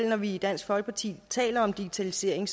når vi i dansk folkeparti taler om digitalisering